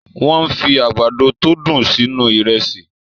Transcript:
Wọ́n fi àgbàdo tó dùn sínú Ìrẹ́sì